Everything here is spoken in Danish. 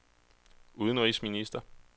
udenrigsminister